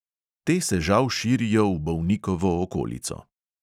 "Te se žal širijo v bolnikovo okolico."